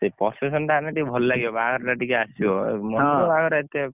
ସେଇ procession ଟା ହେଲେ ଟିକେ ଭଲ ଲାଗିବ ବାହାଘର ଟା ଟିକେ ଆସିବ ମନ୍ଦିର ବାହାଘର ଏତେ କଣ ଉଁ